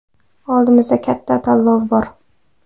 Oldimizda katta tanlov bor.